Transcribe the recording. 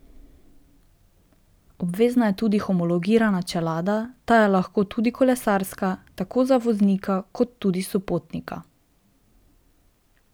Obvezna je tudi homologirana čelada, ta je lahko tudi kolesarska, tako za voznika kot tudi sopotnika.